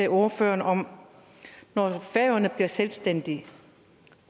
ordføreren om noget når færøerne bliver selvstændige